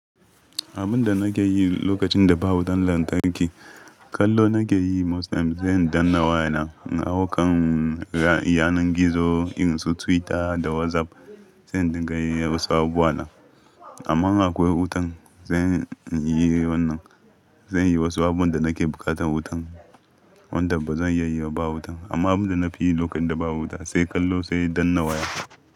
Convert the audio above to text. Abin da nake yi lokacin da ba wutan lantarki, kallo nake yi most times. Sai in danna wayana in hau kan ra'ayi yanar gizo irin su Twitter da WhatsApp. Sai in dinga yin wasu abubuwa na. Amma in akwai wutan, zan yi wannan. Zan yi wasu abubuwan da nake bukatan wutan, wanda ba zan iya yi ba wutan. Amma abin da na fi yi lokacin da ba wuta sai kallo, sai danna waya.